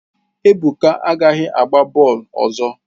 Ebuka agaghị agba bọọlụ ọzọ!